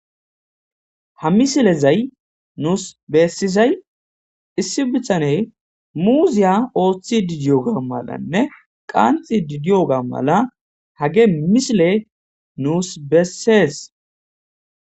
Ha misilezayi, nuusi be'isizayi, issi bithaneyi muuziya oottidi diyoga malanne, qantstsishe diyoga malanne hage misile nuusi be'essees.